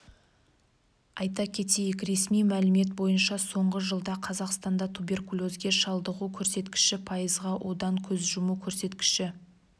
айта кетейік ресми мәлімет бойынша соңғы жылда қазақстанда туберкулезге шалдығу көрсеткіші пайызға одан көз жұму көрсеткіші